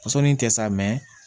Fasɔnni kɛ sa